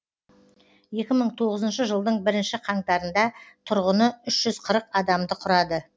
екі мың тоғызыншы жылдың бірінші қаңтарында тұрғыны үш жүз қырық адамды құрады